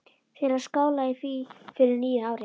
Til að skála í fyrir nýju ári.